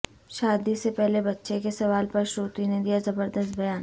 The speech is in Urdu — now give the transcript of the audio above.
شادی سے پہلے بچے کے سوال پر شروتی نے دیا زبردست بیان